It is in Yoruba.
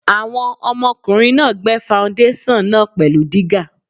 Àwọn ọmọkùnrin náà gbẹ́ faundéṣàn náà pẹ̀lú dígà.